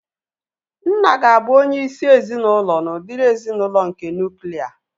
Nna ga-abụ onye isi ezinaụlọ n'udiri ezinaụlọ nke nuklia